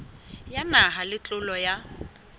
ya naha le ntlo ya